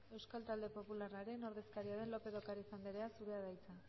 euskal talde popularraren ordezkaria den lópez de ocariz andrea zurea da hitza